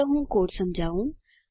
ચાલો હું કોડ સમજાવું